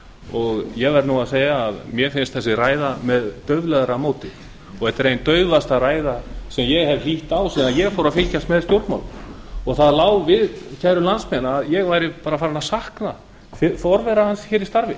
og ég verð að segja að mér finnst þessi ræða með dauflegra móti þetta er ein daufasta ræða sem ég hef hlýtt á síðan ég fór að fylgjast með stjórnmálum það lá við kæru landsmenn að ég væri farinn að sakna forvera hans í starfi